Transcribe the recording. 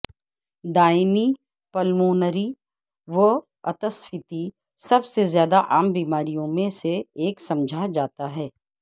دائمی پلمونری واتسفیتی سب سے زیادہ عام بیماریوں میں سے ایک سمجھا جاتا ہے